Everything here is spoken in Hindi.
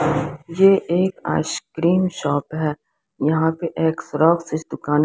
ये एक आइसक्रीम शॉप है यहां पर एक फ्रॉक इस दुकान--